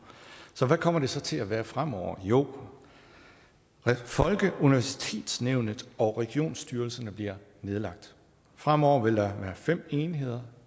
hvordan kommer det så til at være fremover jo folkeuniversitetsnævnet og regionsstyrelserne bliver nedlagt fremover vil der være fem enheder